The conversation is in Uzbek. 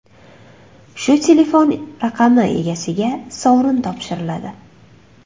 Shu telefon raqami egasiga sovrin topshiriladi.